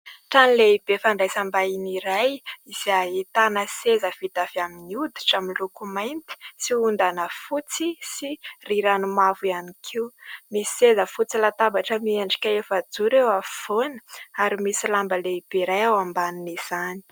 Trano lehibe fandraisam-bahiny iray izay ahitana seza vita avy amin'ny oditra amin'ny loko mainty sy hondana fotsy sy rirany mavo ihany koa. Misy seza fotsy latabatra miendrika efa-joro eo afovoany ary misy lamba lehibe iray ao ambanin'izany.